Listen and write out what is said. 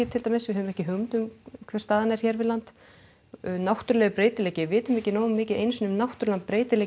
til dæmis við höfum ekki hugmynd um hver staðan er hér við land náttúrulegur breytileiki við vitum ekki nógu mikið einu sinni um náttúrulegan breytileika í